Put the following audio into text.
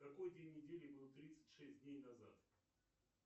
какой день недели был тридцать шесть дней назад